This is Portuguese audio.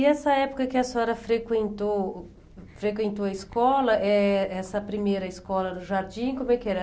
E essa época que a senhora frequentou frequentou a escola eh, essa primeira escola do jardim, como é que era?